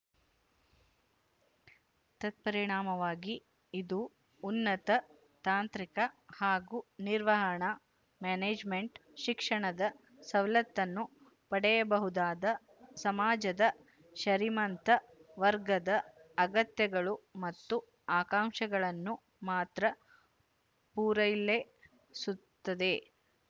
ತತ್ಪರಿಣಾಮವಾಗಿ ಇದು ಉನ್ನತ ತಾಂತ್ರಿಕ ಹಾಗೂ ನಿರ್ವಹಣಾ ಮ್ಯಾನೇಜ್‍ಮೆಂಟ್‌ ಶಿಕ್ಷಣದ ಸವಲತ್ತನ್ನು ಪಡೆಯಬಹುದಾದ ಸಮಾಜದ ಶರೀಮಂತ ವರ್ಗದ ಅಗತ್ಯಗಳು ಮತ್ತು ಆಕಾಂಕ್ಷೆಗಳನ್ನು ಮಾತ್ರ ಪೂರಲೈ ಸುತ್ತದೆ